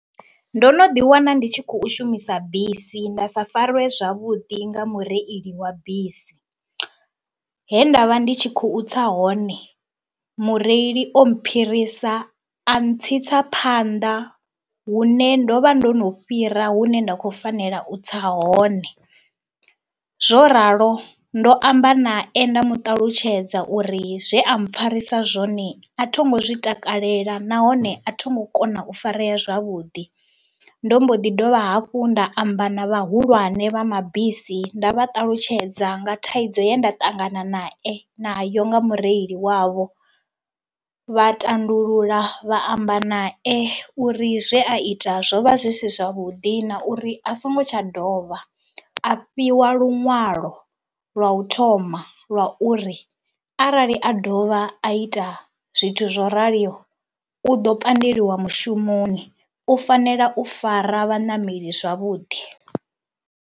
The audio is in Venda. Ndo no ḓiwana ndi tshi khou shumisa bisi nda sa fariwe zwavhudi nga mureili wa bisi, he nda vha ndi tshi khou tsa hone mureili o mphirisa a ntsitsa phanḓa hune ndo vha ndo no fhira hune nda khou fanela u tsa hone, zwo ralo ndo amba nae nda mu ṱalutshedza uri zwe a mpfharisa zwone a tho ngo zwi takalela nahone a tho ngo kona u farea zwavhuḓi. Ndo mbo ḓi dovha hafhu nda amba na vhahulwane vha mabisi nda vha ṱalutshedza nga thaidzo ye nda ṱangana nae nayo nga mureili wavho, vha tandulula vha amba na uri zwe a ita zwo vha zwi si zwavhuḓi na uri a songo tsha dovha. A fhiwa lunwalo lwa u thoma lwa uri arali a dovha a ita zwithu zwo raliho u ḓo pandelwa mushumoni, u fanela u fara vhaṋameli zwavhuḓi.